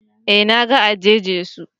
Eh na ga eje-Jesu